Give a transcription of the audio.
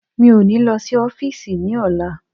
Mi ó ní lo sí ọ́físì ní ọ̀la